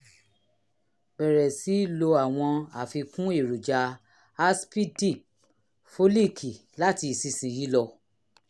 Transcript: bẹ̀rẹ̀ sí lo àwọn àfikún èròjà aàsìipdip fólííkì láti ìsinsìnyí lọ